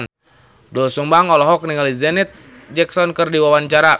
Doel Sumbang olohok ningali Janet Jackson keur diwawancara